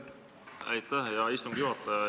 Aitäh, hea istungi juhataja!